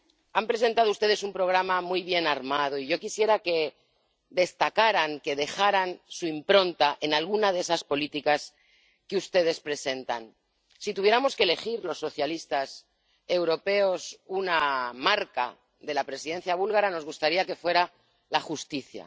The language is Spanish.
Han presentado ustedes un programa muy bien armado, y yo quisiera que destacaran, que dejaran su impronta en alguna de esas políticas que ustedes presentan. Si tuviéramos que elegir los socialistas europeos una marca de la presidencia búlgara, nos gustaría que fuera la justicia.